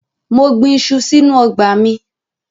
Mo gbin iṣu sínú ọgbà mi.